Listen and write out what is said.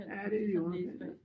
Ja det er lige i underkanten